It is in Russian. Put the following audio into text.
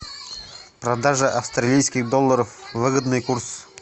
продажа австралийских долларов выгодный курс